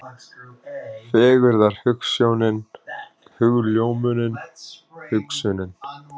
Fegurðarhugsjónin, hugljómunin, hugsunin.